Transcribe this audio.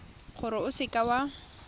gore o seka w a